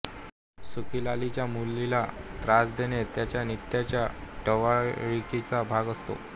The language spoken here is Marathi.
सुखीलालाच्या मुलीला त्रास देणे त्याच्या नित्याच्या टवाळकीचा भाग असतो